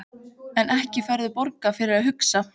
En ekki færðu borgað fyrir að hugsa?